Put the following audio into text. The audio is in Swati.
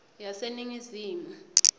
yaseningizimu